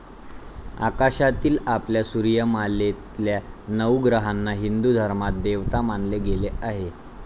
आकाशातील आपल्या सूर्यमालेतल्या नऊ ग्रहांना हिंदू धर्मात देवता मानले गेले आहे.